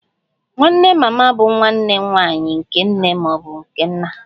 Nwanne mama bụ nwanne nwanyị nke nne ma ọ bụ nna